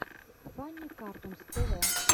фанни картунс тв